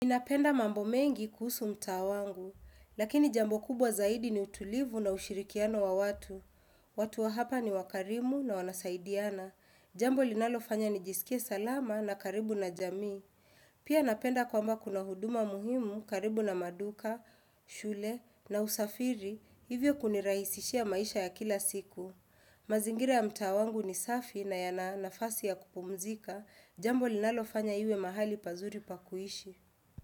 Napenda mambo mengi kuhusu mtaa wangu, lakini jambo kubwa zaidi ni utulivu na ushirikiano wa watu. Watu wa hapa ni wakarimu na wanasaidiana. Jambo linalofanya nijisikie salama na karibu na jamii. Pia napenda kwamba kuna huduma muhimu karibu na maduka, shule na usafiri, hivyo kunirahisishia maisha ya kila siku. Mazingira ya mtaa wangu ni safi na yana nafasi ya kupumzika, jambo linalofanya iwe mahali pazuri pa kuishi.